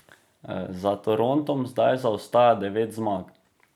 Za Torontom zdaj zaostaja devet zmag.